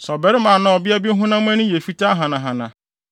“Sɛ ɔbarima anaa ɔbea bi honam ani yɛ fitaa hanahana,